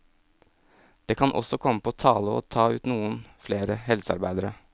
Det kan også komme på tale å ta ut noen flere helsearbeidere.